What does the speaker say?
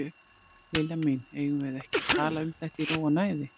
Lilla mín, eigum við ekki að tala um þetta í ró og næði?